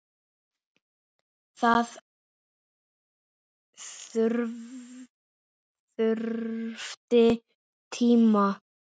Það þurfti tíma.